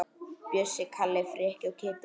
Bjössi, Kalli, Frikki og Kiddi!